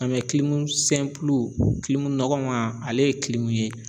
nɔgɔman ale ye ye